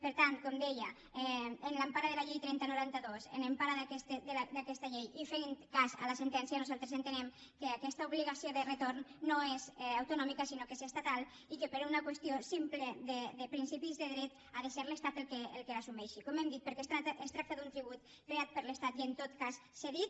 per tant com deia en l’empara de la llei trenta noranta dos en empara d’aquesta llei i fent cas a la sentència nosaltres entenem que aquesta obligació de retorn no és autonòmica sinó que és estatal i que per una qüestió simple de principis de dret ha de ser l’estat qui l’assumeixi com hem dit perquè es tracta d’un tribut creat per l’estat i en tot cas cedit